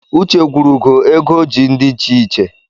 Uche gwuru ụgọ ego o ji ndi icheiche